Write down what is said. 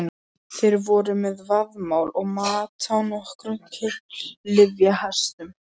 Þeir voru með vaðmál og mat á nokkrum klyfjahestum.